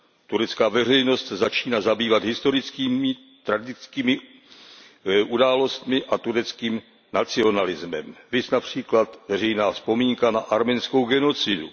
Turecká veřejnost se začíná zabývat historickými tragickými událostmi a tureckým nacionalismem, viz například veřejná vzpomínka na arménskou genocidu.